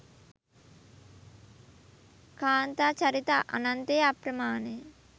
කාන්තා චරිත අනන්ත ය අප්‍රමාණය